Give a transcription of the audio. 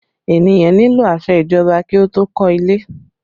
Ènìyàn nílò àṣẹ ìjọba kí ó tó kọ́ ilé